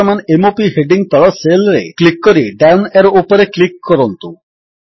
ବର୍ତ୍ତମାନ m o ପି heading ତଳ ସେଲ୍ ରେ କ୍ଲିକ୍ କରି ଡାଉନ୍ ଏରୋ ଉପରେ କ୍ଲିକ୍ କରନ୍ତୁ